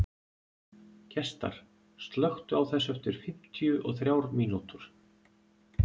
Gestar, slökktu á þessu eftir fimmtíu og þrjár mínútur.